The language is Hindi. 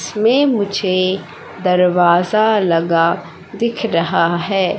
इसमें मुझे दरवाजा लगा दिख रहा है।